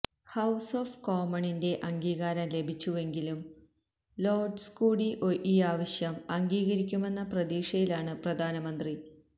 house of കോമണിന്റെ അംഗീകാരം ലഭിച്ചുവെങ്കിലും ലോര്ഡ്സ് കൂടി ഈ ആവശ്യം അംഗീകരിക്കുമെന്ന പ്രതീക്ഷയിലാണ് പ്രധാനമന്ത്രി